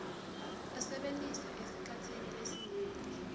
asebentise esikhatsini lesinyenti